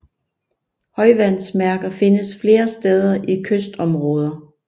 Højvandsmærker findes flere steder i kystområder